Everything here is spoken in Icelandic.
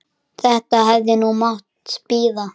Þetta hefði nú mátt bíða.